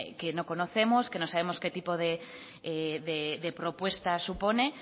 que no conocemos que no sabemos qué tipo de propuesta supone